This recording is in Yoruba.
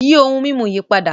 Yí ohun mimú yí pádà!